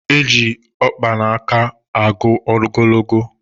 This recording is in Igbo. Eji ọkpa n'aka agụ ogologo